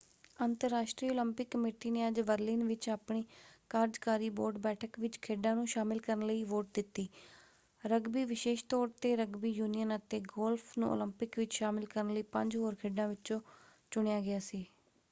ਅੰਤਰਰਾਸ਼ਟਰੀ Olympic committee ਨੇ ਅੱਜ ਬਰਲਿਨ ਵਿੱਚ ਆਪਣੀ ਕਾਰਜਕਾਰੀ ਬੋਰਡ ਬੈਠਕ ਵਿੱਚ ਖੇਡਾਂ ਨੂੰ ਸ਼ਾਮਲ ਕਰਨ ਲਈ ਵੋਟ ਦਿੱਤੀ। ਰਗਬੀ ਵਿਸ਼ੇਸ਼ ਤੌਰ ‘ਤੇ ਰਗਬੀ ਯੂਨੀਅਨ ਅਤੇ ਗੋਲਫ ਨੂੰ ਓਲੰਪਿਕ ਵਿੱਚ ਸ਼ਾਮਲ ਕਰਨ ਲਈ ਪੰਜ ਹੋਰ ਖੇਡਾਂ ਵਿਚੋਂ ਚੁਣਿਆ ਗਿਆ ਸੀ।